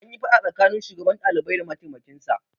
Anyi faɗa tsakanin shugaban ɗalibai da mataimkin sa